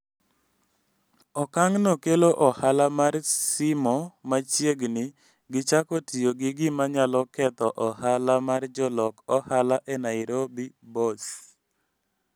Okang'no kelo ohala mar simo machiegni gi chako tiyo gi gima nyalo ketho ohala mar jolok ohala e Nairobi borse